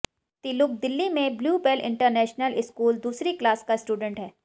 तिलुक दिल्ली में Bluebell international school दूसरी class का स्टूडेंट है